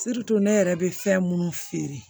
ne yɛrɛ bɛ fɛn minnu feere